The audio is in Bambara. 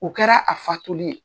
O kɛra a faatuli ye.